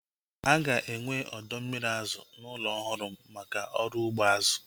Aga enwe ọdọ mmiri azụ n'ụlọ ọhụrụ m maka ọrụ ugbo azụ